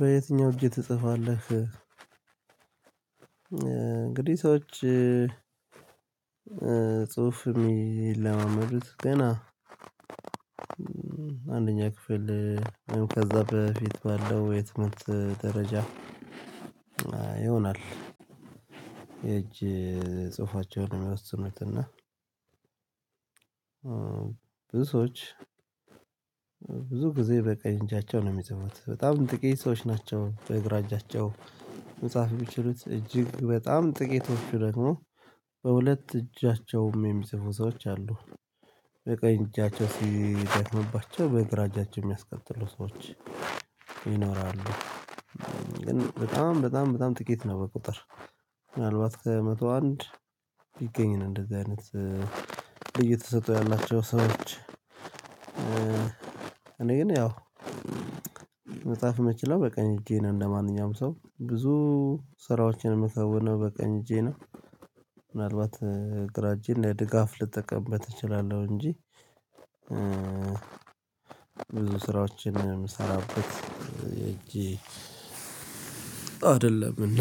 በየትኛው እጅ ትጽፋለህ? እንግዲህ ሰዎች ጽሁፍ የሚለማመዱት ገና አንደኛ ክፍል ከዛ በፊት ባለው የትምህርት ደረጃ ይሆናል። የእጅ ጽሁፋቸውን የሚወስኑት እና ሰዎች ብዙ ጊዜ በቀኝ እጃቸው ነው የሚጽፉት በጣም ጥቂት ሰዎች ናቸው በግራ እጃቸው። መጽሐፍ የሚችሉት እጅግ በጣም ጥቂቶቹ ደግሞ በሁለት እጃቸውም የሚጽፉ ሰዎች አሉ በቀኝ እጃቸው ሲደክምባቸው በግራ እጃቸው የሚያስቀጥሉ ሰዎች ይኖራሉ። ግን በጣም በጣም በጣም ጥቂት ነው በቁጥር ምናልባት ከመቶ አንድ ቢገኝ ነው። እንደዚህ አይነት ልዩ ተሰጥኦ ያላቸው ሰዎች እኔ ግን ያው መጽሐፍ የምችለው በቀኝ እጄ ነው። እንደማንኛውም ሰው ብዙ ስራዎችን የምከውነው በቀኝ እጄ ነው። ምናልባት ግራ እጄን ለድጋፍ ልጠቀምበት እችላለሁ እንጂ ብዙ ስራዎችን የምሰራበት እጄ አይደለም። እና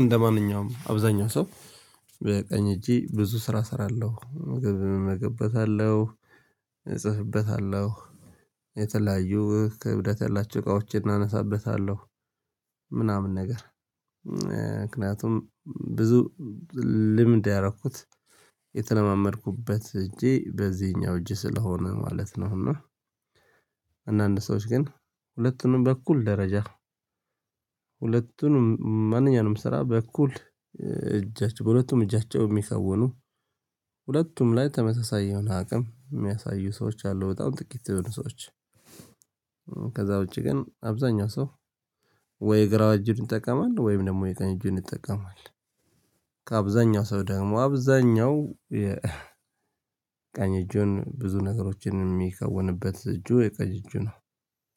እንደማንኛውም አብዛኛው ሰው በቀኝ እጄ ብዙ ስራ እሰራለሁ ምግብ እመገብበታለሁ እጽፍበታለሁ የተለያዩ ክብደት ያላቸው እቃዎችን አነሳበታለሁ ምናምን ነገር ምክንያቱም ብዙ ልምድ ያረኩት የተለማመድኩበት እጄ በዚኛው እጅ ስለሆነ ማለት ነው። እና አንዳንድ ሰዎች ግን ሁለቱንም በኩል ደረጃ ሁለቱንም ማንኛውንም ስራ በእኩል እጃቸው ሁለቱም እጃቸው የሚከውኑ ሁለቱም ላይ ተመሳሳይ የሆነ አቅም የሚያሳዩ ሰዎች አሉ። በጣም ጥቂት የሆኑ ሰዎች ከዛ ውጪ ግን አብዛኛው ሰው ወይ ግራ እጁን ይጠቀማል ወይም ደግሞ የቀኝ እጁን ይጠቀማል። ከአብዛኛው ሰው ደግሞ አብዛኛው የቀኝ እጁን ብዙ ነገሮችን የሚከውንበት እጁ የቀኝ እጁ ነው